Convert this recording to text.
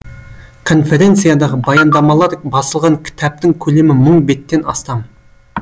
конференциядағы баяндамалар басылған кітаптың көлемі мың беттен астам